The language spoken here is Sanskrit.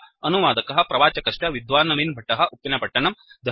अनुवादकः प्रवाचकश्च विद्वान् नवीन् भट्टः उप्पिनपत्तनम्